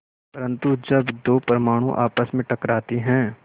परन्तु जब दो परमाणु आपस में टकराते हैं